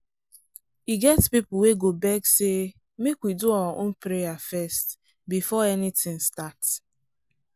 e get people wey go beg say “make we do our own prayer first” before anything start.